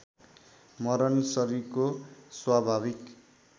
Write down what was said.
मरण शरीरको स्वाभाविक